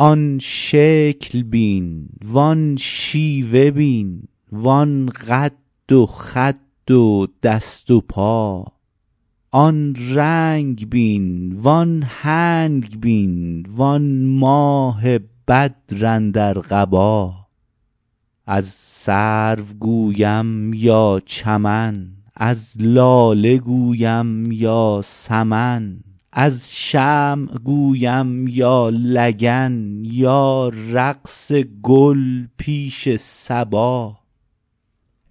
آن شکل بین وان شیوه بین وان قد و خد و دست و پا آن رنگ بین وان هنگ بین وان ماه بدر اندر قبا از سرو گویم یا چمن از لاله گویم یا سمن از شمع گویم یا لگن یا رقص گل پیش صبا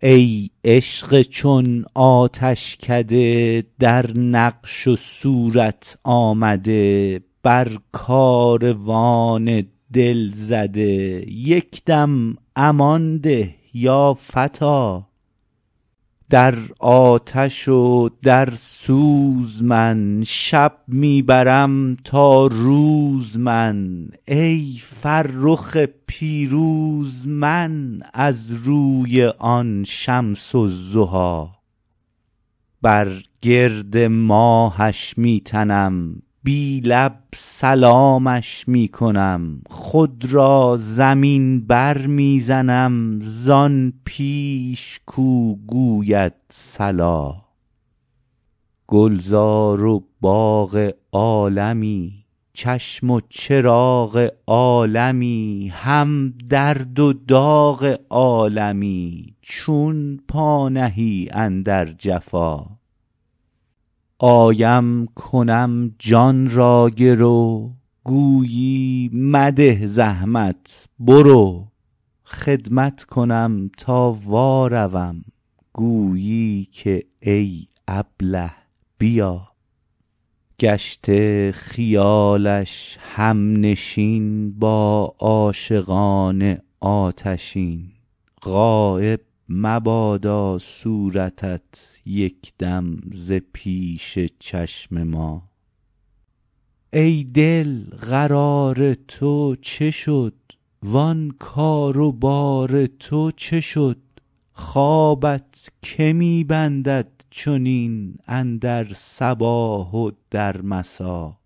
ای عشق چون آتشکده در نقش و صورت آمده بر کاروان دل زده یک دم امان ده یا فتی در آتش و در سوز من شب می برم تا روز من ای فرخ پیروز من از روی آن شمس الضحی بر گرد ماهش می تنم بی لب سلامش می کنم خود را زمین برمی زنم زان پیش کو گوید صلا گلزار و باغ عالمی چشم و چراغ عالمی هم درد و داغ عالمی چون پا نهی اندر جفا آیم کنم جان را گرو گویی مده زحمت برو خدمت کنم تا واروم گویی که ای ابله بیا گشته خیال همنشین با عاشقان آتشین غایب مبادا صورتت یک دم ز پیش چشم ما ای دل قرار تو چه شد وان کار و بار تو چه شد خوابت که می بندد چنین اندر صباح و در مسا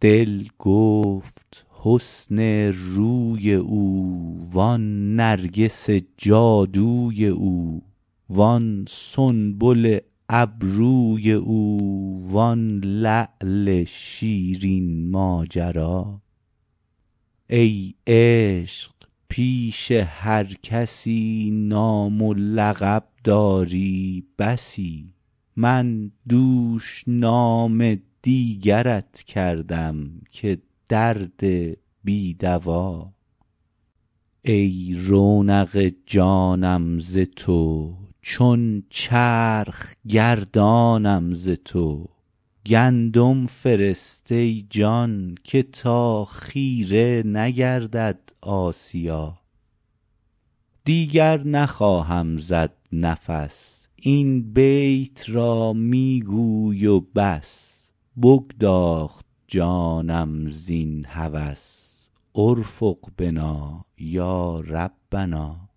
دل گفت حسن روی او وان نرگس جادوی او وان سنبل ابروی او وان لعل شیرین ماجرا ای عشق پیش هر کسی نام و لقب داری بسی من دوش نام دیگرت کردم که درد بی دوا ای رونق جانم ز تو چون چرخ گردانم ز تو گندم فرست ای جان که تا خیره نگردد آسیا دیگر نخواهم زد نفس این بیت را می گوی و بس بگداخت جانم زین هوس ارفق بنا یا ربنا